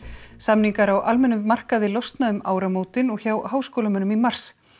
samningar á almennum markaði losna um áramótin og hjá háskólamönnum í mars